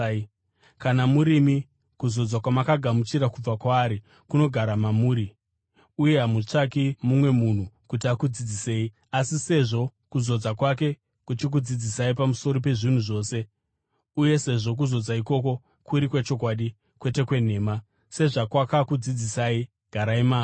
Kana murimi, kuzodzwa kwamakagamuchira kubva kwaari kunogara mamuri, uye hamutsvaki mumwe munhu kuti akudzidzisei. Asi sezvo kuzodza kwake kuchikudzidzisai pamusoro pezvinhu zvose uye sezvo kuzodza ikoko kuri kwechokwadi, kwete kwenhema, sezvakwakakudzidzisai, garai maari.